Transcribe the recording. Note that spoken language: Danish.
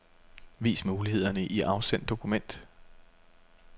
Vis mulighederne i afsend dokument.